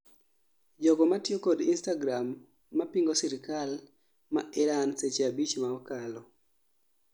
jogo matiyo kod Instagram mapingo sirkal ma Iran seche 5 ma okalo